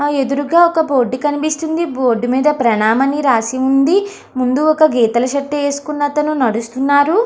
ఆ ఎదురుగ ఒక బోర్డు కనిపిస్తుంది బోర్డు మీద ప్రాణం అని రాసి ఉంది ముందు ఒక గీతాల షర్ట్ ఏసుకున్న అతను నడుస్తున్నారు.